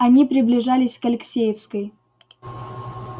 они приближались к алексеевской